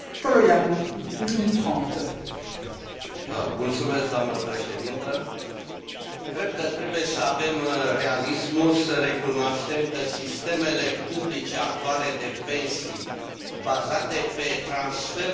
Cred că trebuie să avem realismul să recunoaștem că sistemele publice actuale de pensii bazate pe transferul de resurse între generații, așa numitul principiu